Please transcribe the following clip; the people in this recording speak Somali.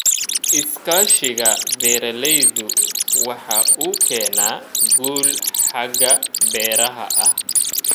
Iskaashiga beeralaydu waxa uu keenaa guul xagga beeraha ah.